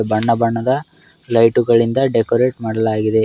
ಬಣ್ಣ ಬಣ್ಣದ ಲೈಟ್ ಗಳಿಂದ ಡೆಕೋರಟ್ ಮಾಡಲಾಗಿದೆ.